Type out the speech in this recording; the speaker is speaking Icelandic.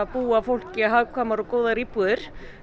búa fólki hagkvæmar og góðar íbúðir